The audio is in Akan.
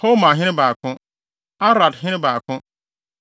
Hormahene 2 baako 1 Aradhene 2 baako 1